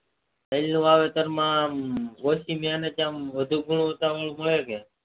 તેલ ના વાવેતર માં વધુ ગુણવતા વાળું મળે કે